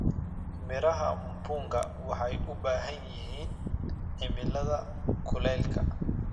Miraha mpunga waxay u baahan yihiin cimilada kuleylka.